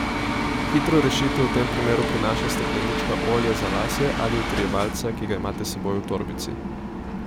Hitro rešitev v tem primeru prinaša steklenička olja za lase ali utrjevalca, ki ga imate s seboj v torbici.